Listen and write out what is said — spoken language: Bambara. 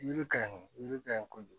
Yiri ka ɲi yiri ka ɲi kojugu